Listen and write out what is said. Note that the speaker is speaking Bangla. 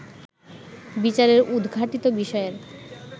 বিচারের উদঘাটিত বিষয়ের